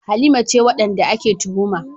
Halima ce wadanda ake tuhuma.